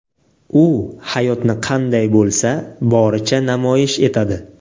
U hayotni qanday bo‘lsa, boricha namoyish etadi.